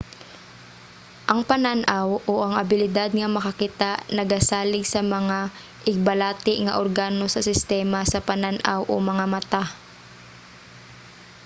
ang panan-aw o ang abilidad nga makakita nagasalig sa mga igbalati nga organo sa sistema sa panan-aw o mga mata